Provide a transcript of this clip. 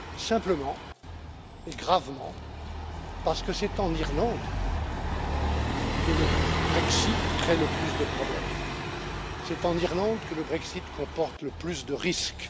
Simplement et gravement parce que c'est en Irlande que le Brexit crée le plus de problèmes. C'est en Irlande que le Brexit comporte le plus de risques.